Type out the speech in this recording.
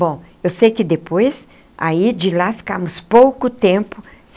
Bom, eu sei que depois aí de lá ficamos pouco tempo.